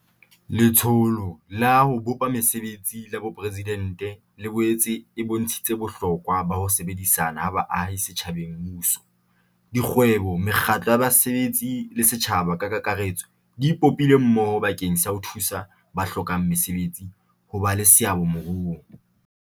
Letsholo la ho Bopa Mese betsi la Boporesidente le boetse e bontshitse bohlokwa ba ho sebedisana ha baahi setjhabeng Mmuso, dikgwebo, mekgatlo ya basebetsi le setjhaba ka kakaretso di ipopile mmoho bakeng sa ho thusa ba hlokang mesebetsi ho ba le seabo moruong.